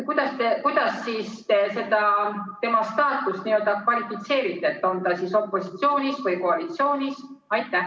Kuidas te siis tema staatust n-ö kvalifitseerite: on ta opositsioonis või koalitsioonis?